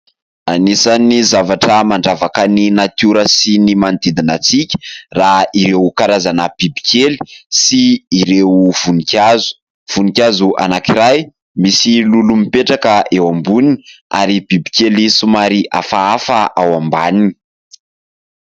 Anisan'ny zavatra mandravaka ny natiora sy ny manodidina antsika raha ireo karazana bibikely sy ireo voninkazo, voninkazo anankiray misy lolo mipetraka eo amboniny ary bibikely somary hafahafa ao ambaniny.